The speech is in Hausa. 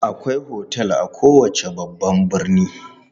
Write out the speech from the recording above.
Akwai otel a kowace babban birni.